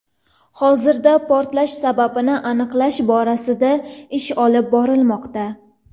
Hozirda portlash sababini aniqlash borasida ish olib borilmoqda.